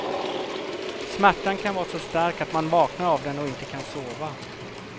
Smärtan kan vara så stark att man vaknar av den och inte kan sova.